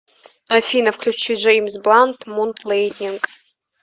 афина включи джэймс блант мун лэндинг